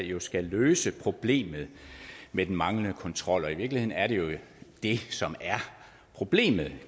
jo skal løse problemet med den manglende kontrol og i virkeligheden er det jo det som er problemet